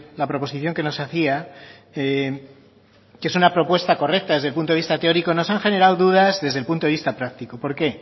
la proposición que nos hacía que es una propuesta correcta desde el punto de vista teórico nos ha generado dudas desde el punto de vista práctico por qué